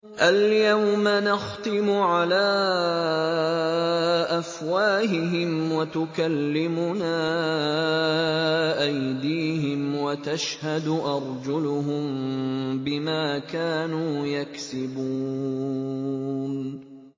الْيَوْمَ نَخْتِمُ عَلَىٰ أَفْوَاهِهِمْ وَتُكَلِّمُنَا أَيْدِيهِمْ وَتَشْهَدُ أَرْجُلُهُم بِمَا كَانُوا يَكْسِبُونَ